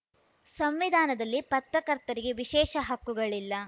ಸಂವಿಧಾನದಲ್ಲಿ ಪತ್ರಕರ್ತರಿಗೆ ವಿಶೇಷ ಹಕ್ಕುಗಳಿಲ್ಲ